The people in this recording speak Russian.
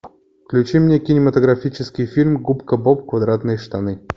включи мне кинематографический фильм губка боб квадратные штаны